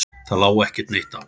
Það lá ekki neitt á.